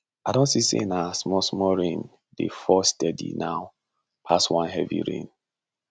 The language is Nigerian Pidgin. i don see say na small small rain dey fall steady now pass one heavy rain